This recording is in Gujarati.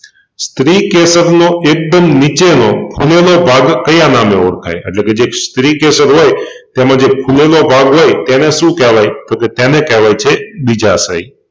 સ્ત્રીકેસર નો એકદમ નીચેનો ફુલેલો ભાગ કયા નામે ઓળખાય એટલેકે જે સ્ત્રી કેસર હોય તેમાં જે ફુલેલો ભાગ હોય તેને કેહવાય છે બીજાશય